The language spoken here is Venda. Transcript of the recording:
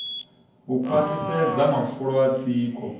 u khwaṱhisedza mafulo a tsiko